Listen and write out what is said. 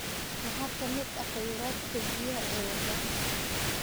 Maxaa ka mid ah kheyraadka biyaha ee Uganda?